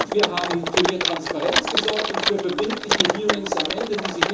Wir haben für mehr Transparenz gesorgt und für verbindliche Hearings am Ende.